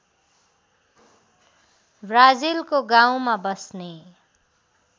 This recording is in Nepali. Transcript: ब्राजिलको गाउँमा बस्ने